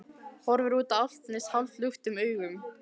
Horfir út á Álftanes hálfluktum augum.